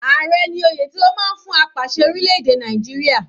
Ààrẹ ní oyè tí wọ́n máa ń fún apàṣẹ orílẹ̀-èdè Nàìjíríà.